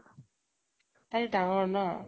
তাইটো ডাঙৰ ন ?